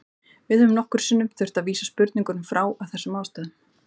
Við höfum nokkrum sinnum þurft að vísa spurningum frá af þessum ástæðum.